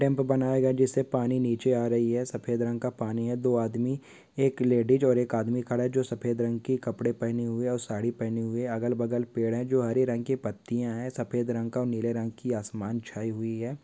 डैम्प बनाया गया जिससे पानी नीचे आ रही है। सफेद रंग का पानी है। दो आदमी एक लेडीज और एक आदमी खड़ा है जो सफेद रंग की कपड़े पहनी हुई और साड़ी पहनी हुई। अगल बगल पेड़ है जो हरे रंग के पत्तियां हैं। सफेद रंग का औ नीले रंग का आसमान छाई हुई है।